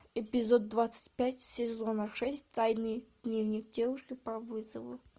эпизод двадцать пять сезона шесть тайный дневник девушки по вызову